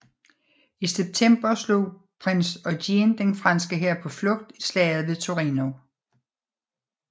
I september slog prins Eugen den franske hær på flugt i slaget ved Torino